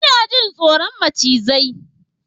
Ina jin tsoron macizai